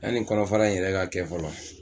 yani kɔnɔfara in yɛrɛ ka kɛ fɔlɔ.